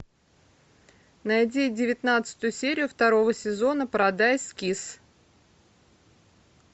найди девятнадцатую серию второго сезона парадайз кисс